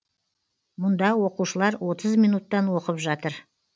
мұнда оқушылар отыз минуттан оқып жатыр